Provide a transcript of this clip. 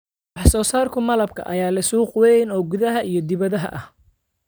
Wax soo saarka malabka ayaa leh suuq weyn oo gudaha iyo dibadda ah.